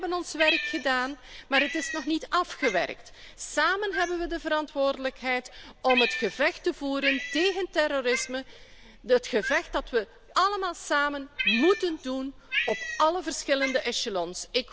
Wij hebben ons werk gedaan, maar het is nog niet klaar. Samen hebben we de verantwoordelijkheid om het gevecht te voeren tegen terrorisme, dat gevecht dat we allemaal samen moeten voeren op alle verschillende echelons.